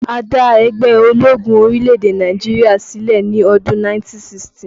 A dá ẹgbẹ́ ológun orílẹ̀-èdè Nàìjíríà sílẹ̀ ní ọdún 1960